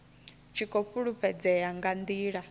tshi khou fhulufhedzea nga ndila